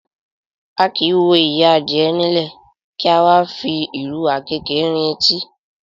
A kì í wo ìyẹ́ adìyẹ nílẹ̀, kí a wá fi ìrù àkéékèé rin etí.